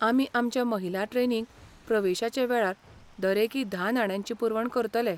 आमी आमच्या महिला ट्रेनींक प्रवेशाचे वेळार दरेकी धा नाण्यांची पुरवण करतले.